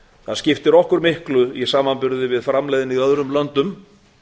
það skiptir okkur miklu í samanburði við framleiðni í öðrum löndum